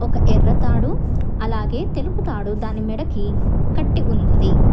ఒక ఎర్ర తాడు అలాగే తెలుపు తాడు దాని మెడకి కట్టి ఉన్నది.